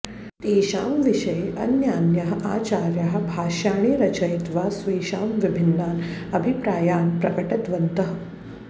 तेषां विषये अन्यान्याः आचार्याः भाष्याणि रचयित्वा स्वेषां विभिन्नान् अभिप्रायान् प्रकटितवन्तः